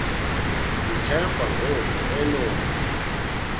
uthemba ngoku enompu